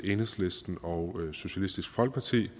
enhedslisten og socialistisk folkeparti